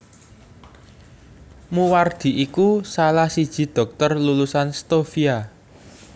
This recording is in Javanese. Moewardi iku salah siji dhokter lulusan Stovia